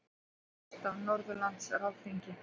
Hundruðir gesta á Norðurlandaráðsþingi